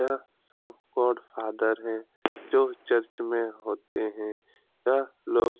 यहाँ सब god father है जो चर्च में होते है यह लोग --